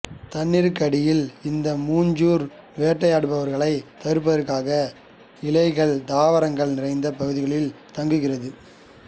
தண்ணீருக்கடியில் இந்த மூஞ்சூறு வேட்டையாடுபவர்களைத் தவிர்ப்பதற்காக இலைகள்தாவரங்கள் நிறைந்த பகுதிகளில் தங்குகிறது